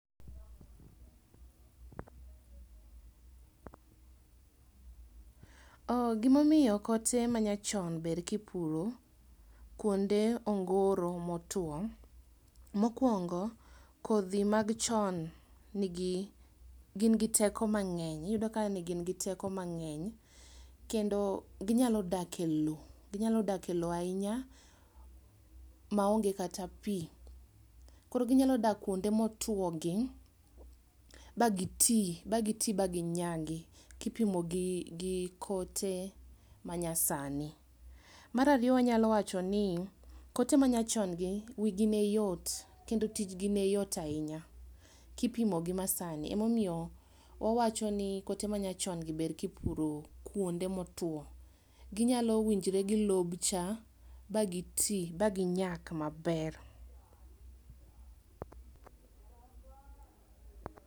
oh gimio kote manyachon ber kipuro kuonde ongoro motuo, mokwongo kodhi mag chon nigi gin gi teko mang'eny, iyudo ka negingi teko mang'eny kendo ginyalo dak e lowo ginyalo dak e lowo ainya maonge kata pii. Koro ginyalo dak kuonde motuogi, ba gitii bagitii baginyagi kipimo gi gi kote manyasani. Marario wanyal wacho ni kote manyachongi wigi neyot kendo tijgi neyot ainya kipimo gi masani, emomio wawacho ni kote machongi ber kipuro kuonde motuo. Ginyalo winjre gi lobcha bagitii baginyak maber.